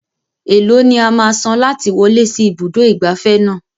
Eèló ni a máa san láti wọlé sí ibùdó ìgbafẹ́ náà?